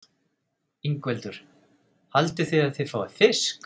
Ingveldur: Haldið þið að þið fáið fisk?